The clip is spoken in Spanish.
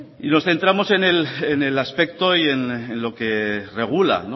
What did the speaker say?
y nos centramos en el aspecto y en lo que regula